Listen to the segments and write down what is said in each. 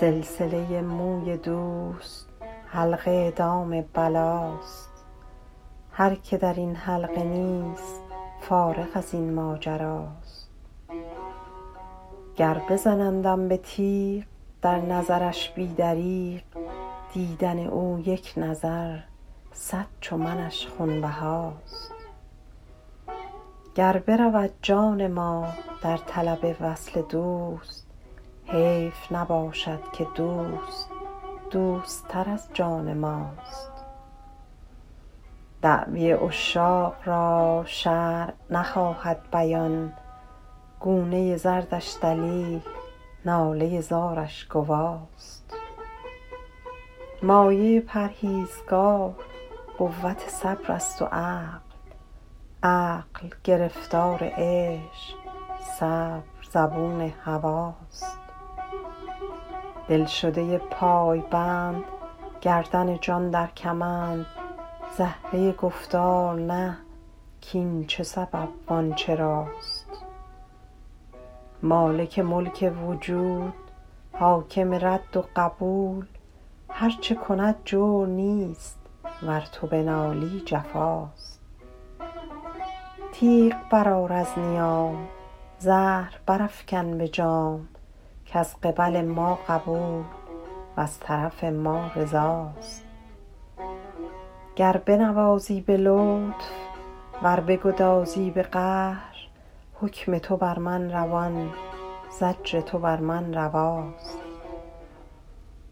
سلسله موی دوست حلقه دام بلاست هر که در این حلقه نیست فارغ از این ماجراست گر بزنندم به تیغ در نظرش بی دریغ دیدن او یک نظر صد چو منش خونبهاست گر برود جان ما در طلب وصل دوست حیف نباشد که دوست دوست تر از جان ماست دعوی عشاق را شرع نخواهد بیان گونه زردش دلیل ناله زارش گواست مایه پرهیزگار قوت صبر است و عقل عقل گرفتار عشق صبر زبون هواست دلشده پایبند گردن جان در کمند زهره گفتار نه کاین چه سبب وان چراست مالک ملک وجود حاکم رد و قبول هر چه کند جور نیست ور تو بنالی جفاست تیغ برآر از نیام زهر برافکن به جام کز قبل ما قبول وز طرف ما رضاست گر بنوازی به لطف ور بگدازی به قهر حکم تو بر من روان زجر تو بر من رواست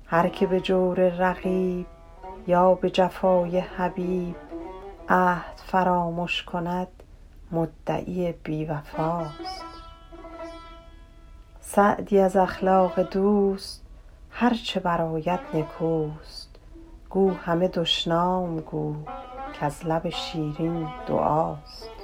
هر که به جور رقیب یا به جفای حبیب عهد فرامش کند مدعی بی وفاست سعدی از اخلاق دوست هر چه برآید نکوست گو همه دشنام گو کز لب شیرین دعاست